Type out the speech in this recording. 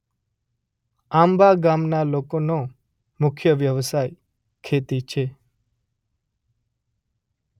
આંબાગામ ગામના લોકોનો મુખ્ય વ્યવસાય ખેતી છે.